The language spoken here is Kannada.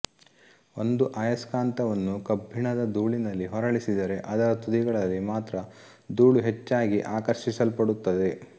ಒಂದು ಅಯಸ್ಕಾಂತವನ್ನು ಕಬ್ಬಿಣದ ಧೂಳಿನಲ್ಲಿ ಹೊರಳಿಸಿದರೆ ಅದರ ತುದಿಗಳಲ್ಲಿ ಮಾತ್ರ ಧೂಳು ಹೆಚ್ಚಾಗಿ ಆಕರ್ಷಿಸಲ್ಪಡುತ್ತದೆ